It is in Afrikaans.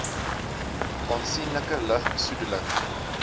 aansienlike lug besoedeling